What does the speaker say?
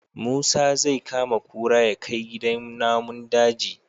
Musa zai kama kura yakai gidan namun daji